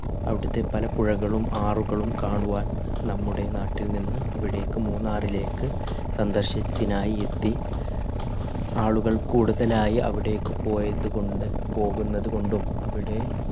അവിടത്തെ പല പുഴകളും ആറുകളും കാണുവാൻ നമ്മുടെ നാട്ടിൽ നിന്ന് അവിടേക്ക് മൂന്നാറിലേക്ക് സന്ദർശത്തിനായി എത്തി ആളുകൾ കൂടുതലായി അവിടേക്ക് പോയത് കൊണ്ട് പോകുന്നതുകൊണ്ടും അവിടെ